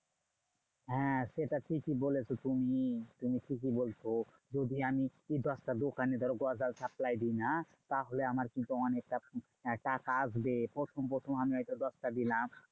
হ্যাঁ সেটা ঠিকই বলেছো তুমি। তুমি ঠিকই বলছো। যদি আমি দশটা দোকানে ধরো গজাল supply দিই না? তাহলে আমার কিন্তু অনেকটা টাকা আসবে। প্রথম প্রথম আমি হয়তো দশটা দিলাম।